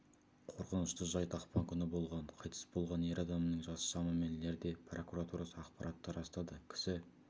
қорқынышты жайт ақпан күні болған қайтыс болған ер адамның жасы шамамен лерде прокуратурасы ақпаратты растады кісі